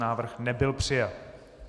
Návrh nebyl přijat.